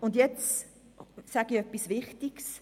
Das ist wichtig: